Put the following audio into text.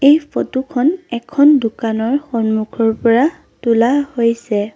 এই ফটো খন এখন দোকানৰ সন্মুখৰ পৰা তোলা হৈছে।